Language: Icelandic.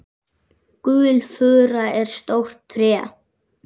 Gulfura er stórt tré.